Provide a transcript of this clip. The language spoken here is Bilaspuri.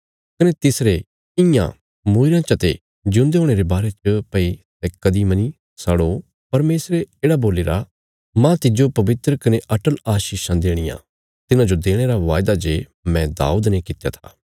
कने तिसरे इयां मूईरेयां चते ज्यूंदे हुणे रे बारे च भई सै कदीं मनी सड़ो परमेशरे येढ़ा बोलीरा मांह तिज्जो पवित्र कने अटल आशीषां देणियां तिन्हांजो देणे रा वायदा जे मैं दाऊद ने कित्या था